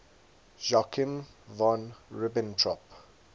joachim von ribbentrop